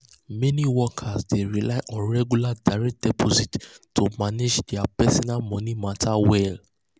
meni workers dey rely on regular direct deposits to manage dia personal moni matters well.